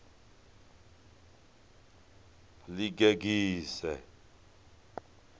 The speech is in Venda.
ḽigegise